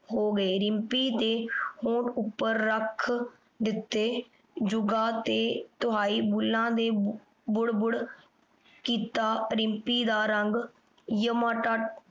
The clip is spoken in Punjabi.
ਹੋ ਗਏ। ਰਿੰਪੀ ਦੇ ਹੋਠ ਉੱਪਰ ਰੱਖ ਦਿੱਤੇ। ਜੁਗਾਂ ਤੇ ਤੁਹਾਈ ਬੁੱਲਾਂ ਦੇ ਬੁੜ ਬੁੜ ਕੀਤਾ। ਰਿੰਪੀ ਦਾ ਰੰਗ